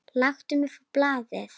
Láttu mig fá blaðið!